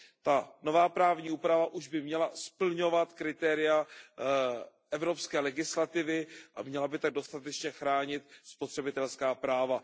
Ta nová právní úprava už by měla splňovat kritéria evropské legislativy a měla by tak dostatečně chránit spotřebitelská práva.